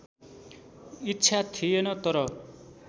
इच्छा थिएन तर